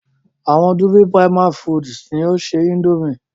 Àwọn "Dufil Prima Foods" ni o ṣe Índòmí.